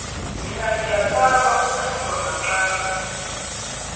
mina ngiyasaba ukuhlungwa maqangi